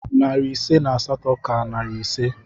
Narị ise na asatọ ka narị ise